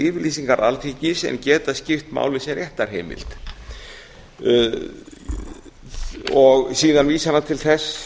yfirlýsingar alþingis en geta skipt máli sem réttarheimild síðan vísar hann til þess